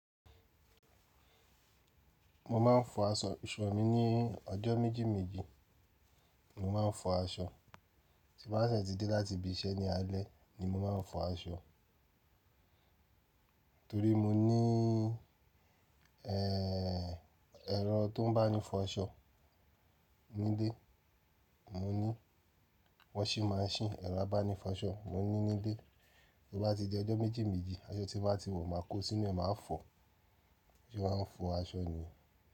Mo máa ń fọ aṣọ, iṣu mi ní ọjọ́ méjì méjì ni mo máa ń fọ aṣọ. Tí bá dẹ́ ti dé láti ibi iṣẹ́ ní alẹ́ ni mo máa ń fọ aṣọ. Torí mo ní, ẹ́, ẹ̀rọ tó ń bá ni fọ aṣọ nílé mo ní. Washing machine, ẹ̀rọ abáni fọṣọ mo ní nílé. Tó bá ti di ọjọ́ méjì méjì, aṣọ tí n bá ti wọ̀ máa kó sínú ẹ́, màá fọ. Bí sé má ń fọ aṣọ ni.